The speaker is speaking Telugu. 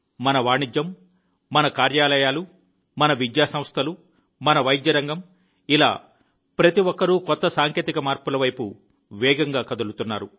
మన వాణిజ్యం మన కార్యాలయాలు మన విద్యాసంస్థలు మన వైద్య రంగం ఇలా ప్రతి ఒక్కరూ కొత్త సాంకేతిక మార్పుల వైపు వేగంగా కదులుతున్నారు